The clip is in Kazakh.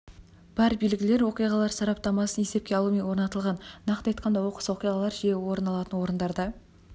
бар белгілер оқиғалар сараптамасын есепке алумен орнатылған нақты айтқанда оқыс оқиғалар жиі орын алатын орындарда